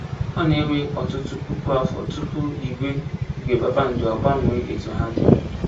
Ọ na-ewe ọtụtụ puku afọ tupu igwe igwe kpakpando agbanwee etu ha dị.